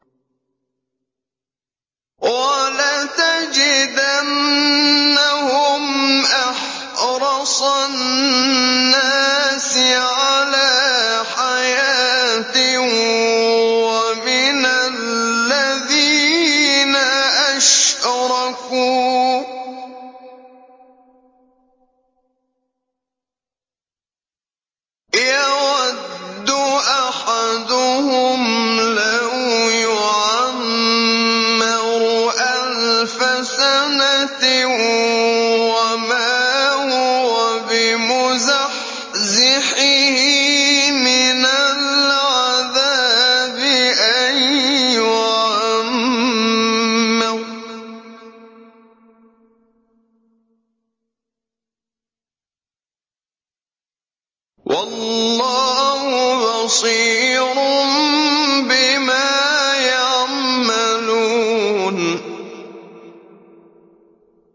وَلَتَجِدَنَّهُمْ أَحْرَصَ النَّاسِ عَلَىٰ حَيَاةٍ وَمِنَ الَّذِينَ أَشْرَكُوا ۚ يَوَدُّ أَحَدُهُمْ لَوْ يُعَمَّرُ أَلْفَ سَنَةٍ وَمَا هُوَ بِمُزَحْزِحِهِ مِنَ الْعَذَابِ أَن يُعَمَّرَ ۗ وَاللَّهُ بَصِيرٌ بِمَا يَعْمَلُونَ